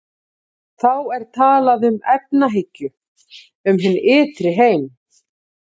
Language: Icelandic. Þá er talað um efahyggju um hinn ytri heim.